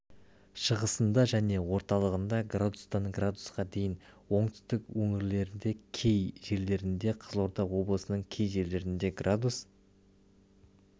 шығысында және орталығында градустан градусқа дейін оңтүстік өңірлерде кей жерлерінде қызылорда облысының кей жерлерінде градус